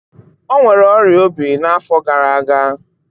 Ọ nwere ọrịa obi n'afọ gara aga.